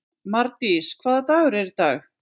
Mardís, hvaða dagur er í dag?